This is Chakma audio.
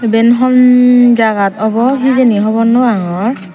iben hon jagat obw hijeni hobor nw pangor.